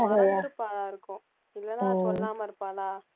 மறந்திருப்பாளா இருக்கும் இல்லைன்னா சொல்லாம இருப்பாளா